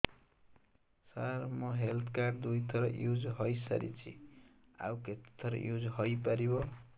ସାର ମୋ health card ଦୁଇ ଥର ୟୁଜ଼ ହୈ ସାରିଛି ଆଉ କେତେ ଥର ୟୁଜ଼ ହୈ ପାରିବ